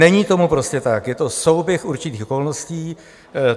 Není tomu prostě tak, je to souběh určitých okolností.